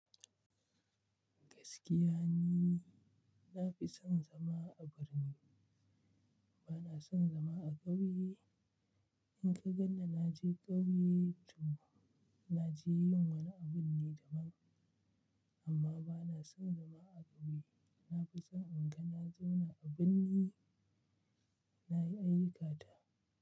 Gaskiya ni, na fi son zama a birni. Bana son zama a ƙauye. In ka ganni na naje ƙauye, to na je yin wani abun ne da man, amma bana son zama a ƙauye. Na fi son in ga na zauna a birni, na yi ayyukata.